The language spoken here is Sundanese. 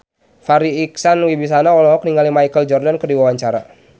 Farri Icksan Wibisana olohok ningali Michael Jordan keur diwawancara